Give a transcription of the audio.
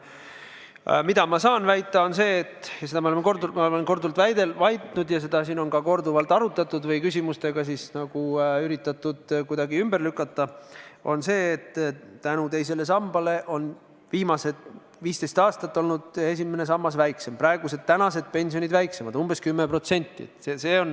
Mida ma saan väita, on see – ja seda ma olen korduvalt väitnud ja seda on ka korduvalt arutatud ja küsimustega üritatud ümber lükata –, et teise samba tõttu on viimased 15 aastat olnud esimesest sambast väljamakstavad pensionid umbes 10% väiksemad.